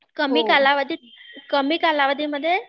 कमी कालावधीत, कमी कालावधी मध्ये